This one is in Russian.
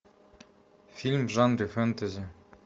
фильм в жанре фэнтези